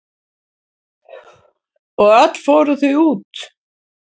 Og öll fóru þau út.